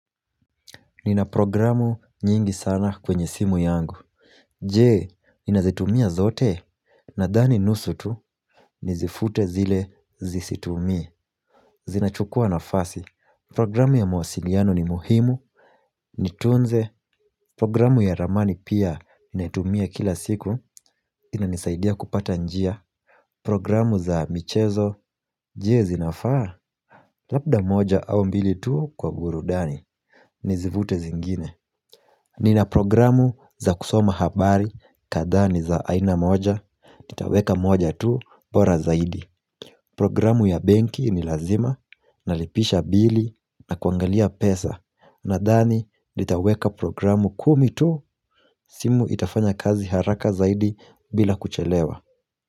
Ninaprogramu nyingi sana kwenye simu yangu Je, ninazitumia zote? Nadhani nusu tu, nizifute zile zisitumi Zinachukua nafasi Programu ya mawasiliano ni muhimu Nitunze Programu ya ramani pia, natumia kila siku inanisaidia kupata njia. Programu za michezo, je, zinafaa? Labda moja au mbili tu kwa burudani Nizifute zingine. Ninaprogramu za kusoma habari, kadhaa ni za aina moja, nitaweka moja tu bora zaidi. Programu ya benki ni lazima, nalipisha bili na kuangalia pesa. Nadhani nitaweka programu kumi tu simu itafanya kazi haraka zaidi bila kuchelewa.